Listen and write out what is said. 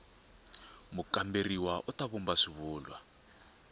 mukamberiwa u ta vumba xivulwa